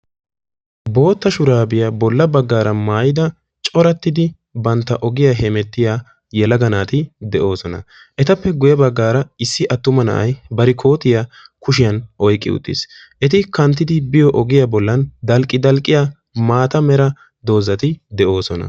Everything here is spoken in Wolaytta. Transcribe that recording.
Bootta shurabiya bolla baggara maayyidi corattida bantta ogiyaa hemettiyaa yelaga naati de'oosona; etappe guyye baggara issi attuma na'ay bari koottiyaa kushiyaan oyqqi uttiis eti knattidi biyo ogiyaa heeran dalqqi-dalqqiyaa mata mera dozati de'oosona.